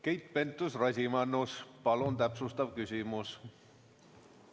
Keit Pentus-Rosimannus, palun täpsustav küsimus!